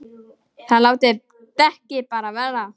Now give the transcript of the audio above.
ÞIÐ LÁTIÐ DEKKIN BARA VERA!